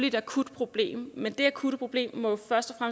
et akutproblem men det akutte problem må jo først og